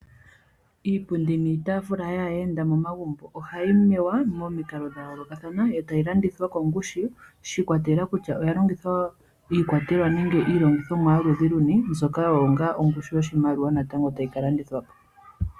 Iipundi niitaafula yaayenda momagumbo ohayi mewa momikalo dhayoolokathana yo tayi landithwa kongushu shiikwatelela kutya oyalongitha iikwatelwa nenge iilongithomwa yoludhi lunu mbyoka oyo nga ongushu yoshimaliwa natango tayikalandithwa po.